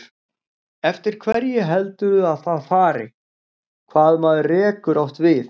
Eftir hverju heldurðu að það fari, hvað maður rekur oft við?